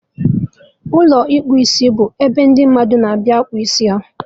Ụlọ ịkpụ isibụ ebe ndị mmadụ na-abịa akpụ isi